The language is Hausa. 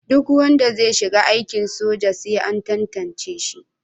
Duk wanda zai shiga aikin soja sai an tantance shi.